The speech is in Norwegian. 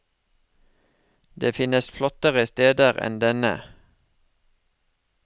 Det finnes flottere steder enn denne.